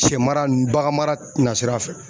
Sɛ mara ninnu bagan mara na sira fɛ